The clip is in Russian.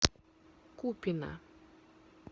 купино